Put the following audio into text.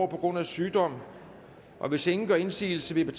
på grund af sygdom hvis ingen gør indsigelse vil jeg